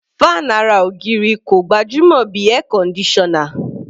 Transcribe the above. Fan ara ògiri kò gbajúmọ̀ bí Air conditioner.